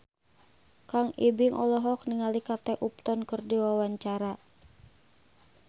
Kang Ibing olohok ningali Kate Upton keur diwawancara